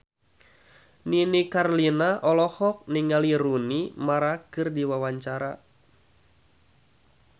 Nini Carlina olohok ningali Rooney Mara keur diwawancara